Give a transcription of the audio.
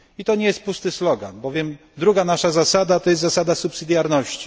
To nie jest pusty slogan, bowiem drugą naszą zasadą jest zasada subsydiarności.